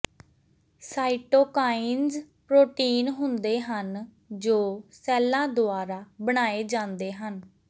cytokines protein ਹੁੰਦੇ ਹਨ ਜੋ ਸੈੱਲਾਂ ਦੁਆਰਾ ਬਣਾਏ ਜਾਂਦੇ ਹਨ